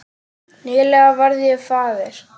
Nýlega varð ég faðir.